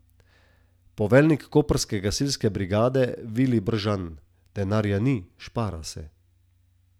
Poveljnik koprske gasilske brigade Vilij Bržan: 'Denarja ni, špara se.